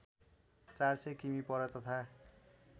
४०० किमि पर तथा